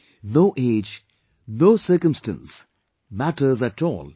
No age, no circumstance, matters at all in this